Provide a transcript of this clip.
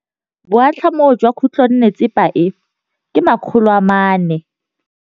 Boatlhamô jwa khutlonnetsepa e, ke 400.